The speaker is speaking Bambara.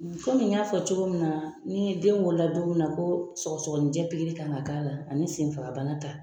Komi n y'a fɔ cogo min na, ni den wolola don min na ko sɔgɔsɔgɔnijɛ pikiri kan ka k'a la ani senfagabana ta.